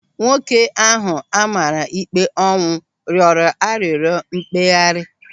Nwoke ahụ a mara ikpe ọnwụ rịọrọ arịrịọ mkpeghari.